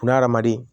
N'a hadamaden